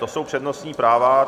To jsou přednostní práva.